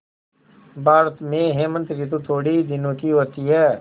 भारत में हेमंत ॠतु थोड़े ही दिनों की होती है